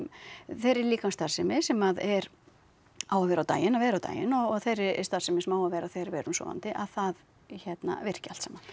þeirri líkamsstarfsemi sem er á að vera á daginn að vera á daginn og þeirri starfsemi sem á að vera þegar við erum sofandi að það hérna virki allt saman